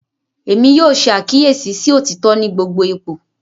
Èmí yóò ṣe àkíyèsí sí otitọ ní gbogbo ipò.